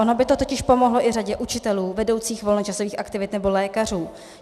Ono by to totiž pomohlo i řadě učitelů, vedoucích volnočasových aktivit nebo lékařů.